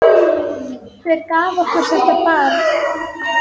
Hver gaf okkur þetta barn?